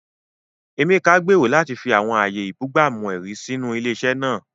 Emeka gbèrò láti fi àwọn ààyè ìbúgbàmù-ẹ̀rí sínú ilé-iṣẹ́ náà.